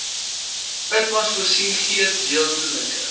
itmas voorsien gedeeltelike